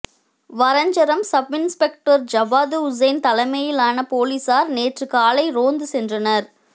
Varanjaram sub inspector Jawad Hussain தலைமையிலான போலீசார் நேற்று காலை ரோந்து சென்றனர்